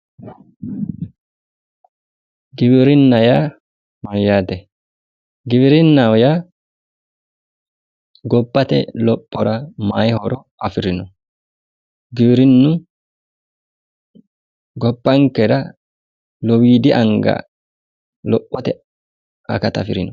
Giwirinnaho yaa mayyaate giwirinnaho yaaa gobbate lophora mayi horo afirino? Giwirinnu gobbankera lowiidi anga lophote akata afirino.